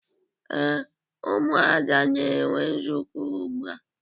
Ee, Ụmụada na-enwe nzukọ ugbua.